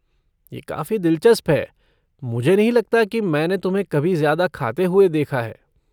ये काफ़ी दिलचस्प है, मुझे नहीं लगता कि मैंने तुम्हें कभी ज्यादा खाते हुए देखा है।